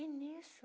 E nisso?